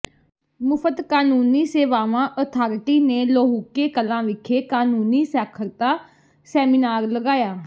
ਮੁਫ਼ਤ ਕਾਨੂੰਨੀ ਸੇਵਾਵਾਂ ਅਥਾਰਟੀ ਨੇ ਲੋਹੁਕੇ ਕਲਾਂ ਵਿਖੇ ਕਾਨੂੰਨੀ ਸਾਖਰਤਾ ਸੈਮੀਨਾਰ ਲਗਾਇਆ